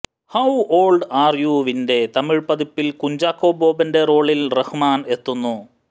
how old are you വിന്റെ തമിഴ് പതിപ്പിൽ കുഞ്ചാക്കോ ബോബന്റെ റോളിൽ റഹ്മാൻ എത്തുന്നു